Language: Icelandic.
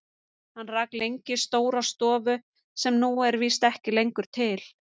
Hann rak lengi stóra stofu sem nú er víst ekki lengur til.